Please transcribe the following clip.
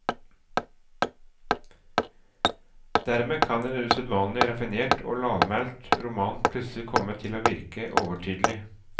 Dermed kan en usedvanlig raffinert og lavmælt roman plutselig komme til å virke overtydelig.